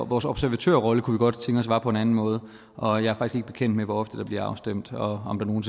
vores observatørrolle kunne vi godt tænke os var på en anden måde og jeg er faktisk ikke bekendt med hvor ofte der bliver stemt og om der nogen